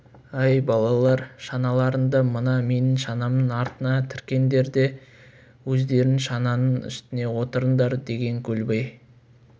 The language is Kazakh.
әй балалар шаналарыңды мына менің шанамның артына тіркеңдер де өздерің шананың үстіне отырыңдар деген көлбай